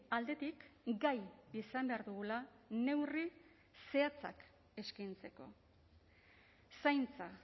aldetik gai izan behar dugula neurri zehatzak eskaintzeko zaintza